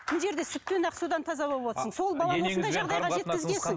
мына жерде сүттен ақ судан таза болып отырсың